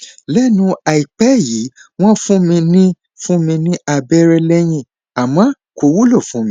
lẹnu àìpẹ yìí wọn fún mi ní fún mi ní abẹrẹ lẹyìn àmọ kò wúlò fún mi